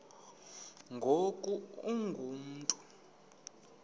ngoku ungu mntu